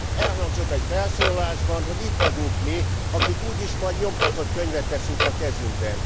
Elhangzott egy felszólalásban, hogy itt vagyunk mi, akik úgyis majd nyomtatott könyvet veszünk a kezünkbe.